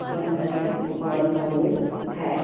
one nine one four है |